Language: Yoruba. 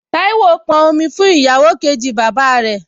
Táíwò pọn omi fún ìyàwó kejì bàbá rẹ̀